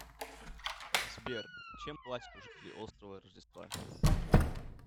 сбер чем платят у жителей острова рождества